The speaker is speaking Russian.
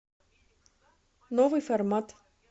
новый формат